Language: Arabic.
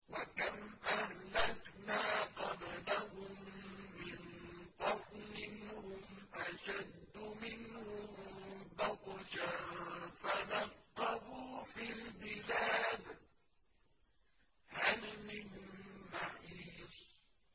وَكَمْ أَهْلَكْنَا قَبْلَهُم مِّن قَرْنٍ هُمْ أَشَدُّ مِنْهُم بَطْشًا فَنَقَّبُوا فِي الْبِلَادِ هَلْ مِن مَّحِيصٍ